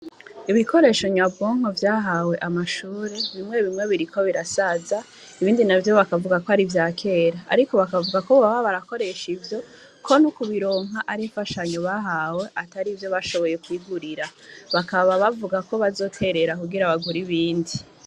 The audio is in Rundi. Ibikoresho nyabonko vyahawe amashuru bimwe bimwe biri ko birasaza ibindi na vyo bakavuga ko ari vya kera, ariko bakavuga ko boba barakoresha ivyo ko ni ukubironka ari fashanyo bahawe atari ivyo bashoboye kwigurira bakaba bavuga ko bazoterera kugira abaguri bindi.